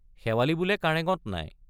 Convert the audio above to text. শেৱালি বোলে কাৰেঙত নাই!